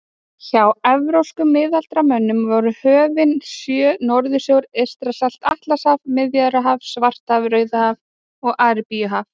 Hjá evrópskum miðaldamönnum voru höfin sjö Norðursjór, Eystrasalt, Atlantshaf, Miðjarðarhaf, Svartahaf, Rauðahaf og Arabíuhaf.